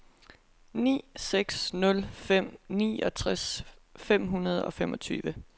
ni seks nul fem niogtres fem hundrede og femogtyve